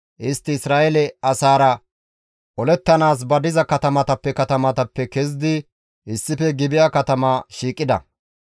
Istti Isra7eele asaara olettanaas ba diza katamatappe katamappe kezidi issife Gibi7a katama shiiqida.